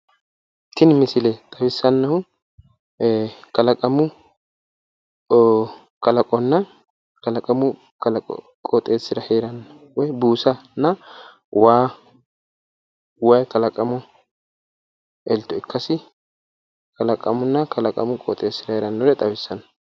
Tini misile xawissannohu kalaqonna kalaqamu qooxeessira heeranno buusanna waa waayi kalaqamu elto ikkasi kalaqamunna kalaqamu qooxeessira heerannore xawissanno.